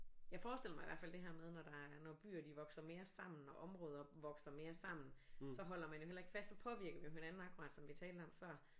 Jeg forestiller mig i hvert fald det her med når der er når byer de vokser mere sammen og områder vokser mere sammen så holder man jo heller ikke fast så påvirker vi jo hinanden akkurat som vi talte om før